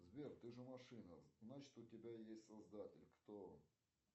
сбер ты же машина значит у тебя есть создатель кто он